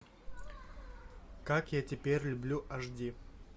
как я теперь люблю аш ди